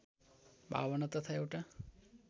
भावना तथा एउटा